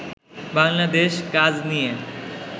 বাংলাদেশ কাজ নিয়ে